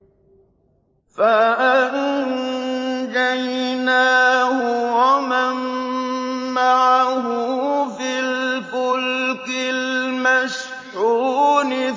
فَأَنجَيْنَاهُ وَمَن مَّعَهُ فِي الْفُلْكِ الْمَشْحُونِ